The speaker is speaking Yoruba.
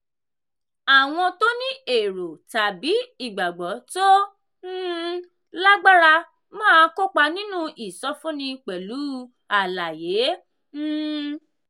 àwọn tó ní èrò tàbí ìgbàgbọ́ tó um lágbára máa kópa nínú ìsọfúnni pẹ̀lú àlàyé. um